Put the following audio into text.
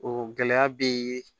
O gɛlɛya bɛ